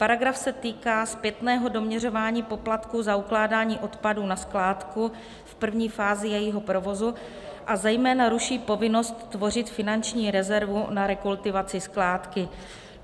Paragraf se týká zpětného doměřování poplatku za ukládání odpadu na skládku v první fázi jejího provozu a zejména ruší povinnost tvořit finanční rezervu na rekultivaci skládky.